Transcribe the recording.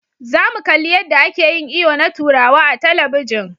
Za mu kalli yadda ake yin iyo na turawa a talabijin.